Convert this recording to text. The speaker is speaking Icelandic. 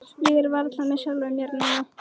Ég er varla með sjálfum mér núna.